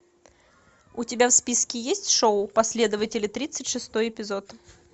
у тебя в списке есть шоу последователи тридцать шестой эпизод